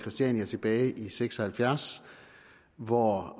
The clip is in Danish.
christiania tilbage i nitten seks og halvfjerds hvor